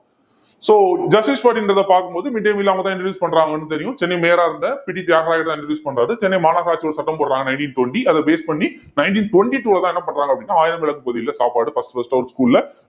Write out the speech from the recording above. so justice party ன்றதை பார்க்கும் போது midday meal அவங்க தான் introduce பண்றாங்கன்னு தெரியும் சென்னை மேயரா இருந்த பி டி தியாகராயர் தான் introduce பண்றாரு சென்னை மாநகராட்சி ஒரு சட்டம் போடுறாங்க nineteen twenty அதை base பண்ணி nineteen twenty two ல தான் என்ன பண்றாங்க அப்படின்னா ஆயிரம் விளக்கு பகுதியில சாப்பாடு first first ஆ ஒரு school ல